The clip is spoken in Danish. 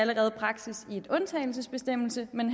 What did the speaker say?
allerede praksis i en undtagelsesbestemmelse men